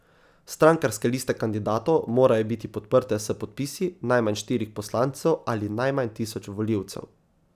Strankarske liste kandidatov morajo biti podprte s podpisi najmanj štirih poslancev ali najmanj tisoč volivcev.